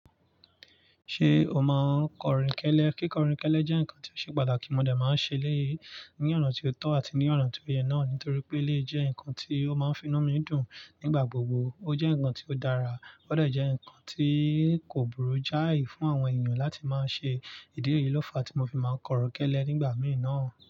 Ṣé o máa kọrìnkẹ́lẹ́? Kíkọrìnkẹ́lẹ́ jẹ́ nǹkan tí ó ṣe pàtàkì, mọ̀ dè máa ń ṣe eléyìí ní ọ̀na tí ó tọ́ àti ní ọ̀na tí ó yẹ náà nítorí pé eléyìí jẹ́ nǹkan tí ó máa ń finu mi dùn nígbà gbogbo. Ó jẹ́ nǹkan tí ó dára, ó dé jẹ́ nǹkan tí kò burú jáì fún àwọn ènìyàn láti máa ṣe ìdí níyii lófa tí mo fi máa kọrinkẹ́lẹ́ nígbà mìí nàa.